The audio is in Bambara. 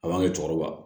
A b'an ka cɛkɔrɔba